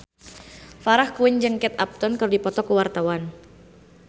Farah Quinn jeung Kate Upton keur dipoto ku wartawan